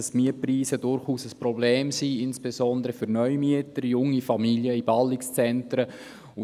Die Mietpreise sind insbesondere für Neumieter oder junge Familien in Ballungszentren ein Problem.